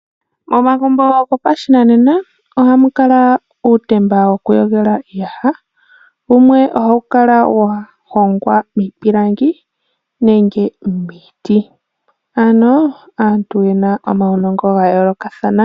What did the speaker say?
Momagumbo gopashinanena ohamu kala uutemba wokuyogela uuyaha, wumwe ohawu kala wahongwa miipilangi nenge miiti , ano aantu yena omaunongo gayoolokathana.